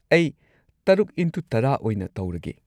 ꯑꯩ ꯶X꯱꯰ ꯑꯣꯏꯅ ꯇꯧꯔꯒꯦ꯫